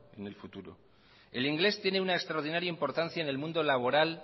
en el futuro el inglés tiene una extraordinaria importancia en el mundo laboral